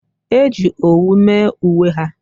e ji owu mee uwe ha